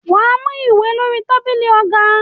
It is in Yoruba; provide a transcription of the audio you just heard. Wà á mú ìwé lórí tábìlì ọ̀gá.